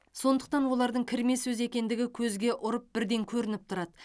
сондықтан олардың кірме сөз екендігі көзге ұрып бірден көрініп тұрады